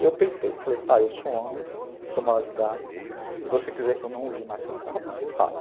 E eu peitei, falei, pai, eu sou homem, sou maior de idade, se você quiser que eu não use mais seu carro, você fala.